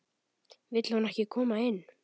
Vill hún ekki koma inn?